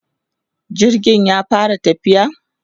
jirgin ya fara tafiya?